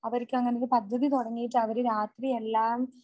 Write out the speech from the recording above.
അവർക്ക് അങ്ങനൊരു പദ്ധതി തുടങ്ങിയിട്ട് അവര് രാത്രി എല്ലാം